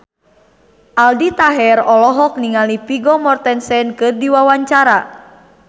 Aldi Taher olohok ningali Vigo Mortensen keur diwawancara